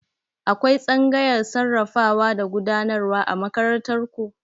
Akwai tsangayar sarrafawa da gudanarwa a makarantar ku?